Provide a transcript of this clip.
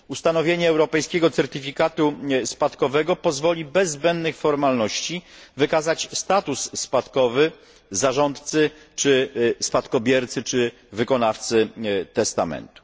Ustanowienie europejskiego certyfikatu spadkowego pozwoli bez zbędnych formalności wykazać status spadkowy zarządcy czy spadkobiercy, czy wykonawcy testamentu.